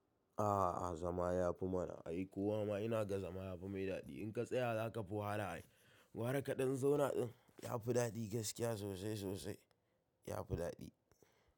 A'a zama ya fi mana, ai ko wa ma ina ga zama ya fi mai daɗi. In ka tsaya za ka fi wahala ai. Gwara kaɗan zauna ɗin ya fi daɗi gaskiya sosai sosai, ya fi daɗi.